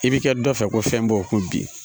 I bi kɛ dɔ fɛ ko fɛn b'o kun bi